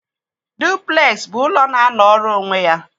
Duplex bụ ụlọ na-anọrọ onwe ya.